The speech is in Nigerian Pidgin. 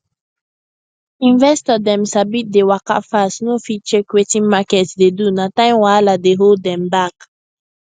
investor dem sabi dey waka fast no fit check wetin market dey do na time wahala dey hold dem back